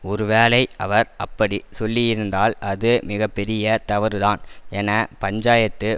ஒருவேளை அவர் அப்படி சொல்லியிருந்தால் அது மிக பெரிய தவறுதான் என பஞ்சாயத்து